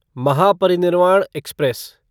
Mahaparinirvan express